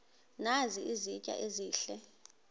nazi izitya ezihle